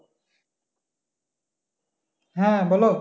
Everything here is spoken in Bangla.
হ্যাঁ বলো।